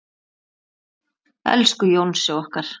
Elsku Jónsi okkar.